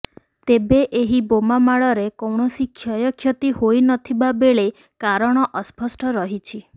ତେବେ ଏହି ବୋମାମାଡରେ କୈଣସି କ୍ଷୟକ୍ଷତି ହୋଇନଥିବା ବେଳେ କାରଣ ଅସ୍ପଷ୍ଟ ରହିଛି